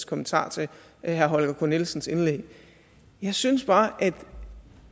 kommentar til herre holger k nielsens indlæg jeg synes bare at